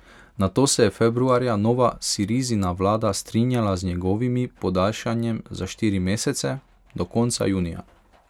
Nato se je februarja nova Sirizina vlada strinjala z njegovimi podaljšanjem za štiri mesece, do konca junija.